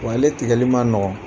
Wa ale tigƐli ma nɔgɔ